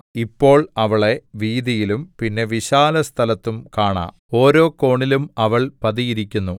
ഇപ്പോൾ അവളെ വീഥിയിലും പിന്നെ വിശാലസ്ഥലത്തും കാണാം ഓരോ കോണിലും അവൾ പതിയിരിക്കുന്നു